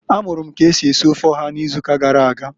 A mụrụ m k'esi esi ofe ọha ịzụụka gara aga.